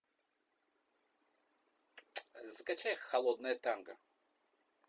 закачай холодное танго